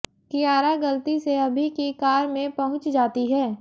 कियारा गलती से अभि की कार में पहुंच जाती है